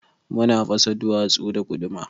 Muna fasa duwatsu da guduma.